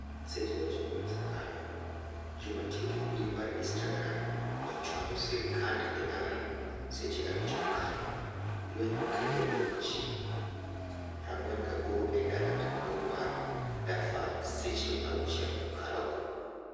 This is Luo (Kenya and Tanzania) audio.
seche 9 mosekalo. Jomatiyo gi mbui mar instagram ochwanyo sirkand Iran seche 5 mokalo. Lweny okelo tho mar ji 48 e dala maduong' mar Darfur seche 6 mokalo go